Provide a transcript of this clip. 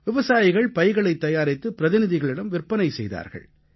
விவசாயிகள் பைகளைத் தயாரித்து பிரதிநிதிகளிடம் விற்பனை செய்தார்கள்